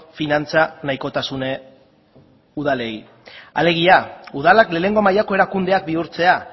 finantza nahikotasun udalei alegia udalak lehenengo mailako erakundeak bihurtzea